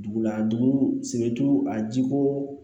Dugu la a dugu a jiko